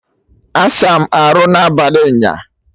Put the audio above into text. Asa m arụ n'abalị nyaa!